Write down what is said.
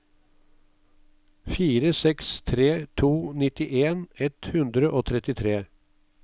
fire seks tre to nittien ett hundre og trettitre